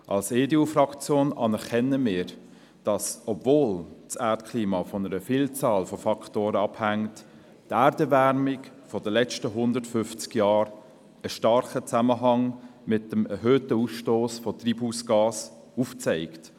Als EDUFraktion anerkennen wir, dass die Erderwärmung der letzten 150 Jahre in einem starken Zusammenhang mit dem erhöhten Ausstoss von Treibhausgasen steht, obwohl das Erdklima von einer Vielzahl an Faktoren abhängt.